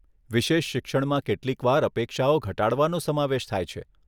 વિશેષ શિક્ષણમાં કેટલીકવાર અપેક્ષાઓ ઘટાડવાનો સમાવેશ થાય છે.